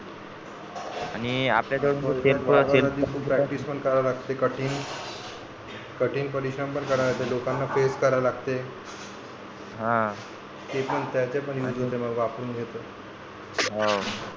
आणि आपल्या जवळ selfself practice पण करावी लागते कठीण कठीण परिश्रम पण लोकांना face करा लागते हा ते पण त्याचे पण बाबा आपण घेतो हाव